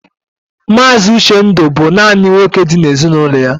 Mazi Uchendu bú nanị nwoke dị n'ezinụlọ ya.